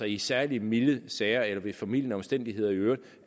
i særlig milde sager eller ved formildende omstændigheder i øvrigt